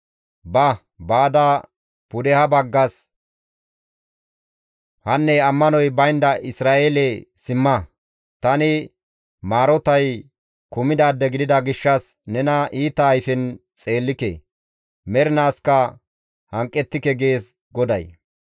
«Ba; baada pudeha baggas, ‹Hanne ammanoy baynda Isra7eelee simma! Tani maarotay kumidaade gidida gishshas nena iita ayfen xeellike; mernaaskka hanqettike› gees GODAY.